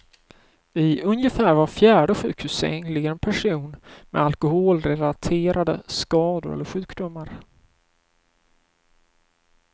I ungefär var fjärde sjukhussäng ligger en person med alkoholrelaterade skador eller sjukdomar.